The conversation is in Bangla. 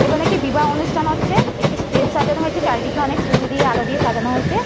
এখানে একটি বিবাহ অনুষ্ঠান হচ্ছে। একটি স্টেজ সাজানো হয়েছে। চারিদিকে অনেক ফুল দিয়ে আলো দিয়ে সাজানো হয়েছে।